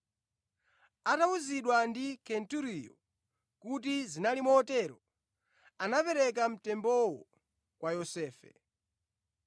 Atawuzidwa ndi Kenturiyo kuti zinali motero, anapereka mtembowo kwa Yosefe.